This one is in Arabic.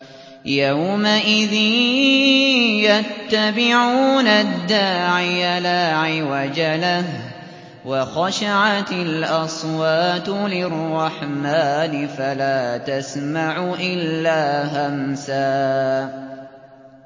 يَوْمَئِذٍ يَتَّبِعُونَ الدَّاعِيَ لَا عِوَجَ لَهُ ۖ وَخَشَعَتِ الْأَصْوَاتُ لِلرَّحْمَٰنِ فَلَا تَسْمَعُ إِلَّا هَمْسًا